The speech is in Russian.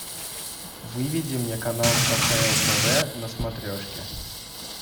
выведи мне канал кхл тв на смотрешке